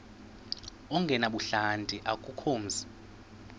ongenabuhlanti akukho mzi